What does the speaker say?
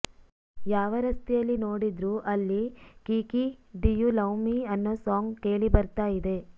ಯಾವ ರಸ್ತೆಯಲ್ಲಿ ನೋಡಿದ್ರು ಅಲ್ಲಿ Kiki do you love me ಅನ್ನೋ ಸಾಂಗ್ ಕೇಳಿ ಬರ್ತಾ ಇದೆ